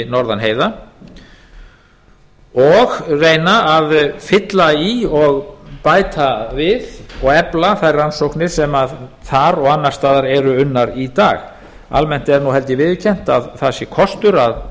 norðan heiða og reyna að fylla í og bæta við og efla þær rannsóknir sem þar og annars staðar eru unnar í dag almennt er held ég viðurkennt að það sé kostur